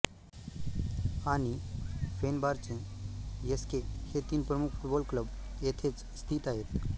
आणि Fenerbahce S K हे तीन प्रमुख फुटबॉल क्लब येथेच स्थित आहेत